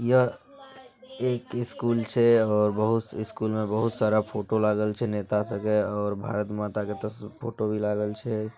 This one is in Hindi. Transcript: यह एक स्कूल छे और बहुत स्कूल में बहुत सारा फोटो लागल छेनेता सब के और भारत माता के तस फोटो भी लागल छे।